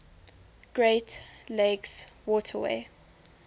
great lakes waterway